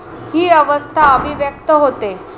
ही अवस्था अभिव्यक्त होते.